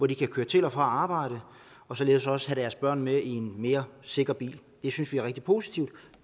de kører til og fra arbejde og således også kan have deres børn med i en mere sikker bil det synes vi er rigtig positivt